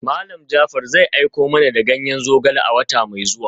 Malam Jaafar zai aiko mana da ganyen zogale a wata mai zuwa.